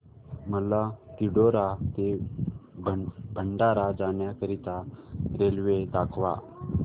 मला तिरोडा ते भंडारा जाण्या करीता रेल्वे दाखवा